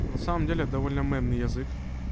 ну на самом деле довольно мемный язык